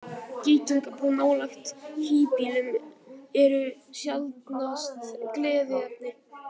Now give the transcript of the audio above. Geitungabú nálægt híbýlum eru sjaldnast gleðiefni.